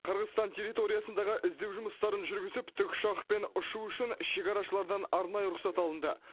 қырғызстан территориясындағы іздеу жұмыстарын жүргізіп тікұшақпен ұшу үшін шекарашылардан арнайы рұқсат алынды